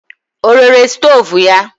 Ọ rere stoovu ya?